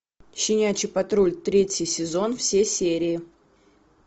щенячий патруль третий сезон все серии